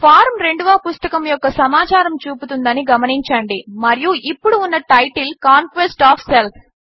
form రెండవ పుస్తకము యొక్క సమాచారము చూపుతుందని గమనించండి మరియు ఇప్పుడు ఉన్న టైటిల్ కాంక్వెస్ట్ ఒఎఫ్ సెల్ఫ్